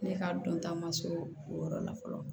Ne ka dɔnta ma surun o yɔrɔ la fɔlɔ